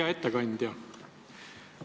Hea ettekandja!